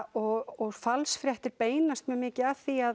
og falsfréttir beinast mjög mikið að því að